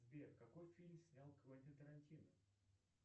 сбер какой фильм снял квентин тарантино